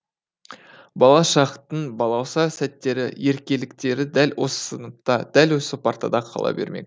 бала шақтың балауса сәттері еркеліктері дәл осы сыныпта дәл осы партада қала бермек